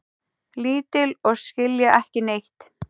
Lítil og skilja ekki neitt.